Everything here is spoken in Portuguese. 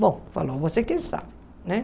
Bom, falou, você quem sabe, né?